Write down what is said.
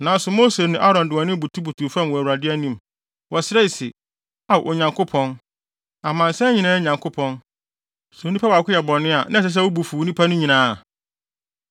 Nanso Mose ne Aaron de wɔn anim butubutuw fam wɔ Awurade anim. Wɔsrɛe se, “Ao, Onyankopɔn, amansan nyinaa Nyankopɔn, sɛ onipa baako yɛ bɔne a, na ɛsɛ sɛ wo bo fu nnipa no nyinaa?”